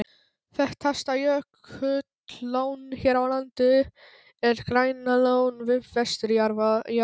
Þekktasta jökullón hér á landi er Grænalón við vesturjaðar